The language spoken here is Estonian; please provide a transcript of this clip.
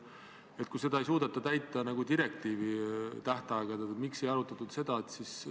Seda otsuse eelnõu arutati täpselt samadel kuupäevadel nagu ka eelnevaid eelnõusid.